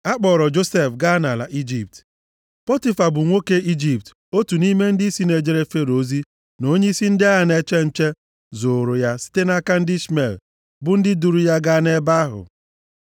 A kpọọrọ Josef gaa nʼala Ijipt. Pọtifa, bụ nwoke Ijipt, otu nʼime ndịisi na-ejere Fero ozi, na onyeisi ndị agha na-eche nche zụụrụ ya site nʼaka ndị Ishmel, bụ ndị duuru ya gaa nʼebe ahụ.